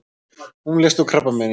Hún lést úr krabbameini.